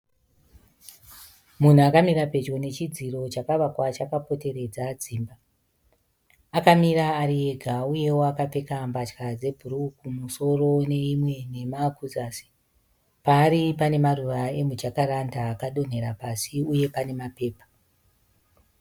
Munhu akamira pedyo nechidziro chakavakwa chakapoteredza dzimba. Akamira ari ega uyewo akapfeka mbatya dzebhuruu kumusoro neimwe nhema kuzasi. Paari pane maruva emumajakaranda akadonhera pasi uye pane mapepa.